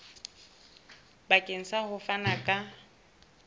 bakeng sa ho fana ka